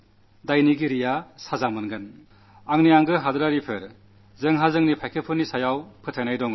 എന്റെ പ്രിയപ്പെട്ട ദേശവാസികളേ നമുക്കു നമ്മുടെ സൈന്യത്തിൽ വിശ്വാസമുണ്ട്